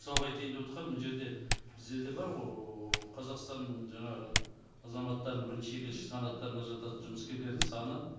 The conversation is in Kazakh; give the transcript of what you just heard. мысалға айтайын деп отырғаным мына жерде біздерде бар ғой қазақстанның жаңағы азаматтарының бірінші екінші санаттарына жататын жұмыскерлердің саны